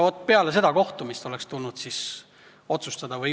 Vaat peale seda kohtumist oleks tulnud otsustada.